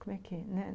Como é que é? né